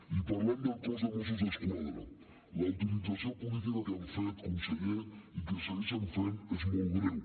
i parlant del cos de mossos d’esquadra la utilització política que han fet conseller i que segueixen fent és molt greu